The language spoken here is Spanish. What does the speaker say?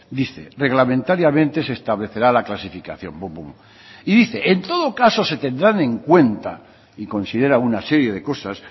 dice reglamentariamente se establecerá la clasificación y dice en todo caso se tendrán en cuenta y considera una serie de cosas